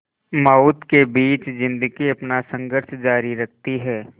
मौत के बीच ज़िंदगी अपना संघर्ष जारी रखती है